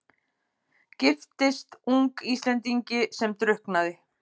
Giftist ung Íslendingi sem drukknaði.